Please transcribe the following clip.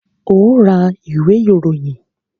Óò ra ìwé ìròyìn!